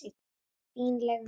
Fínleg mistök.